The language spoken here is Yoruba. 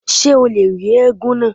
Ṣé o lè rí éégún náà?